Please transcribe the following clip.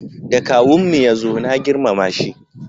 Da kawun mu ya zo na girmama shi